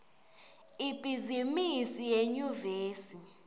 ibhizimisi yenyuvesi